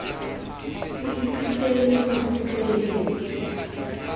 ho ithuteng le ho rutweng